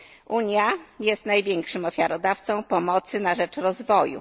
Unia jest największym ofiarodawcą pomocy na rzecz rozwoju.